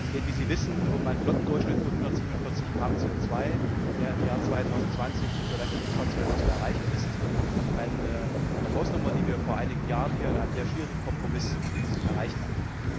Es geht, wie Sie wissen, um einen Flottendurchschnitt von 147 g CO 2 der im Jahr 2020 für leichte Nutzfahrzeuge zu erreichen ist. Das ist eine Hausnummer, die wir vor einigen Jahren hier in einem sehr schwierigen Kompromiss erreicht hatten.